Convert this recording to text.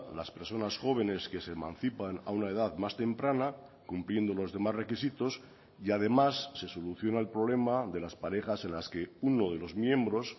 las personas jóvenes que se emancipan a una edad más temprana cumpliendo los demás requisitos y además se soluciona el problema de las parejas en las que uno de los miembros